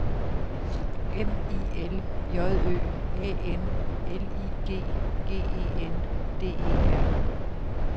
M I L J Ø A N L I G G E N D E R